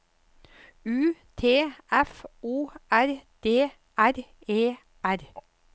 U T F O R D R E R